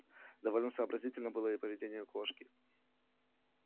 довольно сообразительным было и поведение кошки